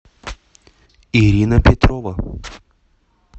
ирина петрова